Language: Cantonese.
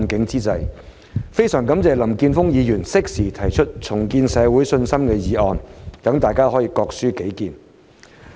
我非常感謝林健鋒議員適時提出"重建社會信心"議案，讓大家可以各抒己見。